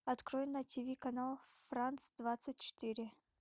открой на тв канал франс двадцать четыре